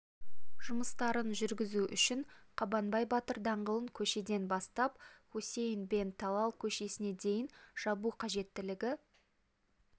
жұмыстарын жүргізу үшін қабанбай батыр даңғылын көшеден бастап хусейн бен талал көшесіне дейін жабу қажеттілігі